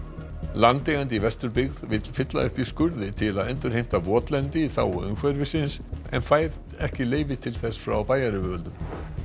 landeigandi í Vesturbyggð vill fylla upp í skurði til að endurheimta votlendi í þágu umhverfisins en fær ekki leyfi til þess frá bæjaryfirvöldum